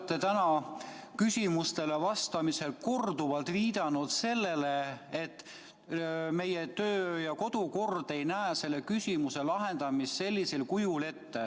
Te olete täna küsimustele vastamisel korduvalt viidanud sellele, et meie töö- ja kodukord ei näe selle küsimuse lahendamist sellisel kujul ette.